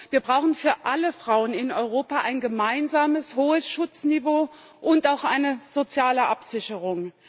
Wir brauchen für alle Frauen in Europa ein gemeinsames hohes Schutzniveau und auch eine soziale Absicherung.